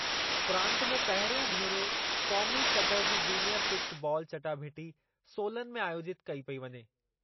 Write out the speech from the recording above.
प्रांत में पहिरियों भेरो क़ौमी सतहि जी जूनियर फिस्ट बालु चटाभेटी सोलन में आयोजितु कई पेई वञे।